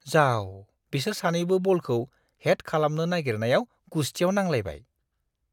जाव! बिसोर सानैबो बलखौ हेड खालामनो नागिरनायाव गुस्थियाव नांलायबाय।